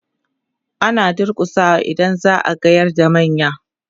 ana durkusawa idan za'a gayar da manya